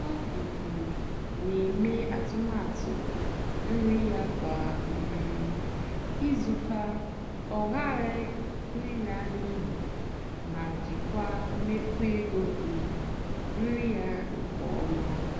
ọ́ um nà-èmè àtụ́matụ́ nrì yá kwá um ìzù kà ọ́ ghàrà ị́là n'íyì mà jìkwáà mméfú égó um nrì yá nkè ọ́má.